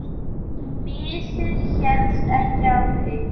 Missir helst ekki af leik.